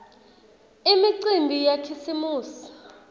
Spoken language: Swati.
imicimbi yakhisimusi